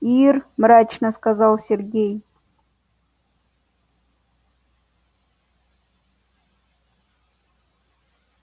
ир мрачно сказал сергей